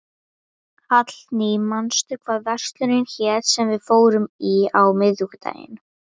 Hallný, manstu hvað verslunin hét sem við fórum í á miðvikudaginn?